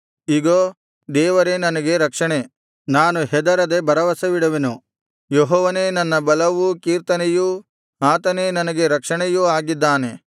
ಇಗೋ ದೇವರೇ ನನಗೆ ರಕ್ಷಣೆ ನಾನು ಹೆದರದೆ ಭರವಸವಿಡುವೆನು ಯೆಹೋವನೇ ನನ್ನ ಬಲವೂ ಕೀರ್ತನೆಯೂ ಆತನೇ ನನಗೆ ರಕ್ಷಣೆಯೂ ಆಗಿದ್ದಾನೆ